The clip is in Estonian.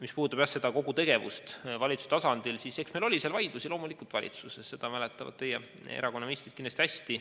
Mis puudutab kogu seda tegevust valitsuse tasandil, siis eks meil loomulikult oli valitsuses vaidlusi, seda mäletavad teie erakonna ministrid kindlasti hästi.